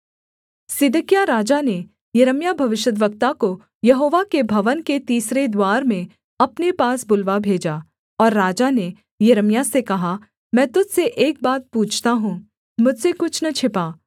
सिदकिय्याह राजा ने यिर्मयाह भविष्यद्वक्ता को यहोवा के भवन के तीसरे द्वार में अपने पास बुलवा भेजा और राजा ने यिर्मयाह से कहा मैं तुझ से एक बात पूछता हूँ मुझसे कुछ न छिपा